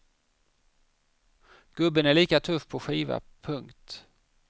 Gubben är lika tuff på skiva. punkt